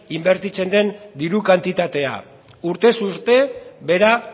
inbertitzen den diru kantitatea urtez urte behera